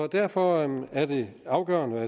derfor er det afgørende